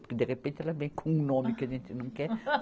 Porque de repente ela vem com um nome que a gente não quer.